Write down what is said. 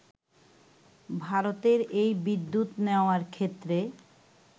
ভারতের এই বিদ্যুৎ নেওয়ার ক্ষেত্রে